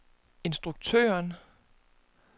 instruktøren